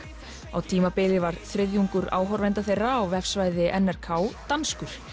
á tímabili var þriðjungur áhorfenda þeirra á vefsvæði n r k danskur